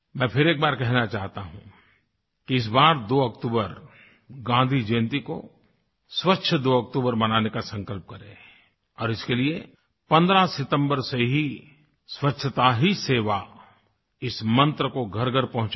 मैं फिर एक बार कहना चाहता हूँ कि इस बार 2 अक्टूबर गाँधी जयंती को स्वच्छ 2 अक्टूबर मनाने का संकल्प करें और इसके लिए 15 सितम्बर से ही स्वच्छता ही सेवा इस मंत्र को घरघर पहुंचायें